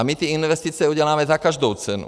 A my ty investice uděláme za každou cenu.